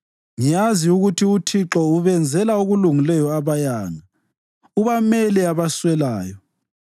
Ngiyazi ukuthi uThixo ubenzela okulungileyo abayanga, ubamele abaswelayo.